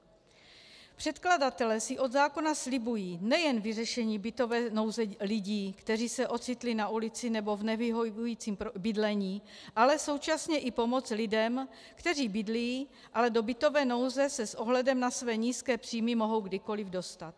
Předkladatelé si od zákona slibují nejen vyřešení bytové nouze lidí, kteří se ocitli na ulici nebo v nevyhovujícím bydlení, ale současně i pomoc lidem, kteří bydlí, ale do bytové nouze se s ohledem na své nízké příjmy mohou kdykoliv dostat.